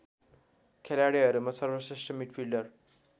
खेलाडिहरूहरूमा सर्वश्रेष्ठ मिडफील्डर